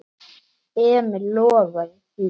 Emil lofaði því.